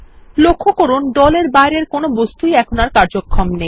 লক্ষ্য করুন দল এর বাইরের কোনো বস্তুরই এখন কার্যক্ষম নেই